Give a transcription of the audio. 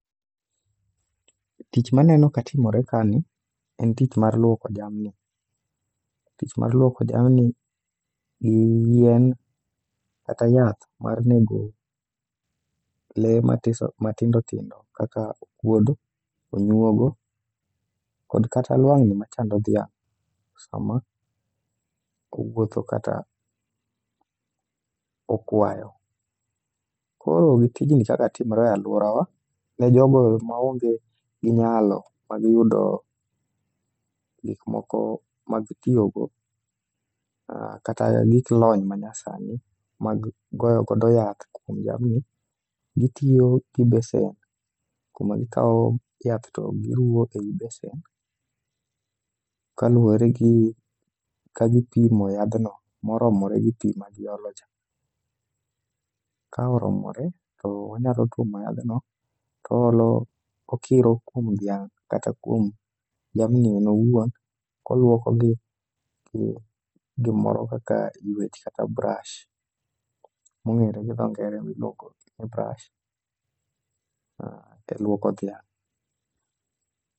Tich maneno ka timore ka ni en tich mar luoko jamni. Tich mar lwoko jamni gi yien kata yath mar nego le matiso matindo tindo kaka okuodo onyuogo, kod kata lwang'ni ma chando dhiang' sama kowuotho kata okwayo. Koro gi tijni kaka timore e alworawa ne jogo maonge gi nyalo mag yudo gik moko mag tiyogo kata gik lony manyasani mag goyo godo yath kuom jamni. Gitiyo gi besen, kuma gikawo yath to giruo ei besen kaluworegi ka gipimo yadhno moromore gi pi magiolo cha. Ka oromore toonyalo tuomo yadhno toolo, okiro kuom dhiang' kata kuom jamni en owuon. Koluokogi gi gimoro kaka ywech kata brash, mong'ere gi dho ngere ni luok gi brush e lwoko dhiang.